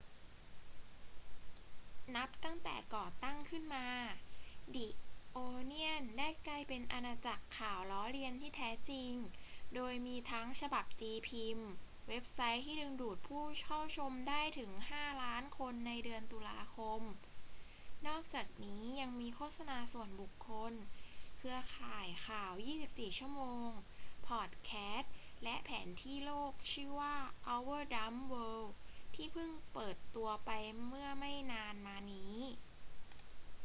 นับตั้งแต่ก่อตั้งขึ้นมา the onion ได้กลายเป็นอาณาจักรข่าวล้อเลียนที่แท้จริง โดยมีทั้งฉบับตีพิมพ์ เว็บไซต์ที่ดึงดูดผู้เข้าชมได้ถึง 5,000,000 คนในเดือนตุลาคม นอกจากนี้ยังมีโฆษณาส่วนบุคคล เครือข่ายข่าว 24 ชั่วโมง พอดแคสต์ และแผนที่โลกชื่อว่า our dumb world ที่เพิ่งเปิดตัวไปเมื่อไม่นานมานี้